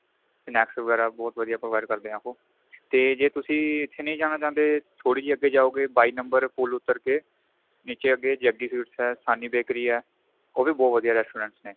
"snacks ਵਗੈਰਾ ਬਹੁਤ ਵਧੀਆ provide ਕਰਦੇ ਏ ਉਹ ਤੇ ਜੇ ਤੁਸੀਂ ਇੱਥੇ ਨਹੀਂ ਜਾਣਾ ਚਾਹਂਦੇ ਥੋੜੀ ਜੀ ਅੱਗੇ ਜਾਉ ਗਏ ਬਾਈ number ਪੂਲ ਉਤਰ ਕੇ ਨੀਚੇ